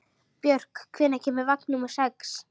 Björk, hvenær kemur vagn númer sex?